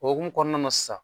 O hokumu kɔnɔna na sisan